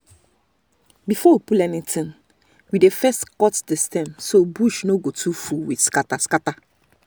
before we pull anything we dey first cut the stem so bush no go too full with scatter-scatter.